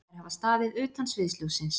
Þær hafa staðið utan sviðsljóssins